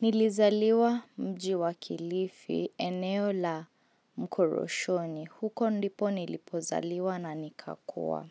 Nilizaliwa mji wa kilifi, eneo la mkoroshoni. Huko ndipo nilipozaliwa na nikakua.